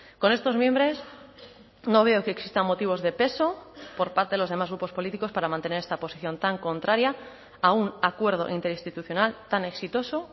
con estos mimbres no veo que existan motivos de peso por parte de los demás grupos políticos para mantener esta posición tan contraria a un acuerdo interinstitucional tan exitoso